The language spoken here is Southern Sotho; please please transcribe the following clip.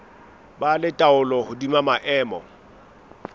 ba le taolo hodima maemo